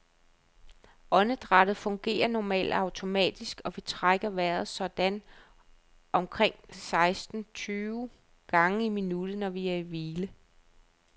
Åndedrættet fungerer normalt automatisk, og vi trækker vejret sådan omkring seksten tyve gange i minuttet, når vi er i hvile.